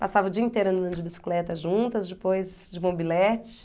Passava o dia inteiro andando de bicicleta juntas, depois de mobilete.